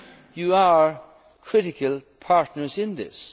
you as Parliament. You are critical